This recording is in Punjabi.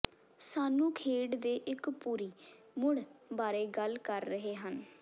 ਸਾਨੂੰ ਖੇਡ ਦੇ ਇੱਕ ਪੂਰੀ ਮੁੜ ਬਾਰੇ ਗੱਲ ਕਰ ਰਹੇ ਹਨ